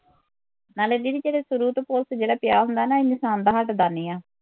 ਨਾਲੇ ਦੀਦੀ ਜਿਹੜਾ ਸ਼ੁਰੂ ਤੋਂ ਭੁਸ ਜਿਹੜਾ ਪਿਆ ਹੁੰਦਾ ਹੈ ਨਾ ਇਹ ਇਨਸਾਨ ਦਾ ਹੱਟਦਾ ਨਹੀਂ